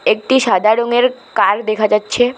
একটি সাদা রঙের কার দেখা যাচ্ছে।